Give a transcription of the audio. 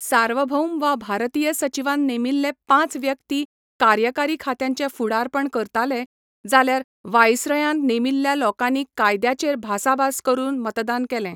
सार्वभौम वा भारतीय सचीवान नेमिल्ले पांच व्यक्ती कार्यकारी खात्यांचें फुडारपण करताले, जाल्यार व्हायसरायन नेमिल्ल्या लोकांनी कायद्याचेर भासाभास करून मतदान केलें.